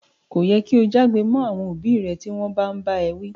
Ko yẹ ki o já'gbe mọ àwọn òbí rẹ ti wọn bàa n bá ẹ wi.